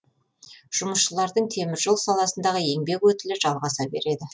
жұмысшылардың темір жол саласындағы еңбек өтілі жалғаса береді